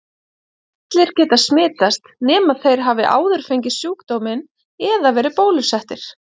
Allir geta smitast nema þeir hafi áður fengið sjúkdóminn eða verið bólusettir.